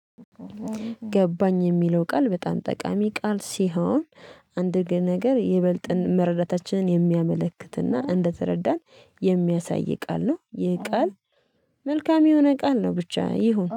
ገባኝ የሚለው ቃል በጣም ጠቃሚ ቃል ሲሆን አንድ ግን ነገር የበልጥን መረዳታችንን የሚያመለክትና እንደተረዳን የሚያሳይ ቃል ነው። ይሄ ቃል መልካም የሆነ ቃል ነው ብቻ ይሁን።